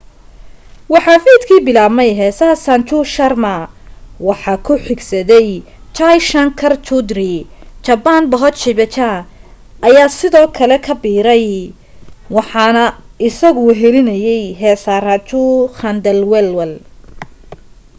waxaa fiidki bilaabay heesaa sanju sharma waxaa ku xigsaday jai shankar choudhary chhappan bhog bhajan ayaa sidoo kale ku biiray waxana isagu wehlinayay heesaa raju khandelwal